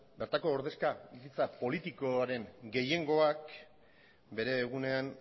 bertako ordezkaritza politikoaren gehiengoak bere egunean